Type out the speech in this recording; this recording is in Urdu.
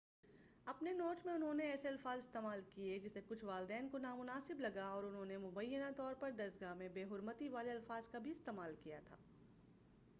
اپنے نوٹ میں انہوں نے ایسے الفاظ استعمال کیے جسے کچھ والدین کو نامناسب لگا اور انہوں نے مبینہ طور پر درسگاہ میں بےحرمتی والے الفاظ کا بھی استعمال کیا تھا